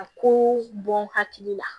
A ko bɔ n hakili la